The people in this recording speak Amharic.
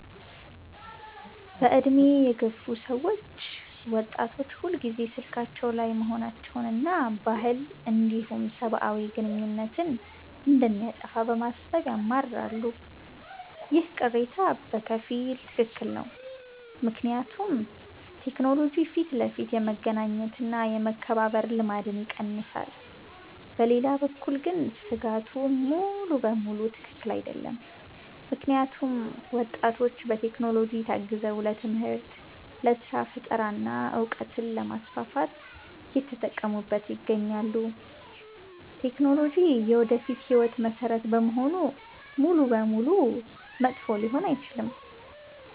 በዕድሜ የገፉ ሰዎች ወጣቶች ሁልጊዜ ስልካቸው ላይ መሆናቸውንና ባህልን እንዲሁም ሰብአዊ ግንኙነትን እንደሚያጠፋ በማሰብ ያማርራሉ። ይህ ቅሬታ በከፊል ትክክል ነው፤ ምክንያቱም ቴክኖሎጂ ፊት ለፊት የመገናኘት እና የመከባበር ልማድን ይቀንሳል። በሌላ በኩል ግን ስጋቱ ሙሉ በሙሉ ትክክል አይደለም፤ ምክንያቱም ወጣቶች በቴክኖሎጂ ታግዘው ለትምህርት፣ ለስራ ፈጠራ እና እውቀትን ለማስፋፋት እየተጠቀሙበት ይገኛሉ። ቴክኖሎጂ የወደፊት ህይወት መሰረት በመሆኑ ሙሉ በሙሉ መጥፎ ሊሆን አይችልም።